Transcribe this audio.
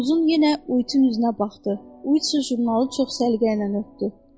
Uzum yenə Uitin üzünə baxdı, Uitsin jurnalı çox səliqə ilə öpdü.